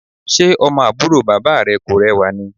Ṣe ọmọ àbúrò bàbá rẹ kò rẹwà ni?